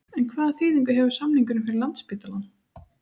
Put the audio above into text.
En hvaða þýðingu hefur samningurinn fyrir Landspítalann?